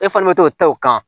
E fana bɛ to ta o kan